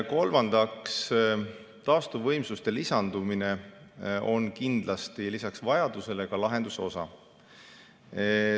Kolmandaks, taastuvvõimsuste lisandumine on kindlasti lisaks vajadusele lahenduse osa.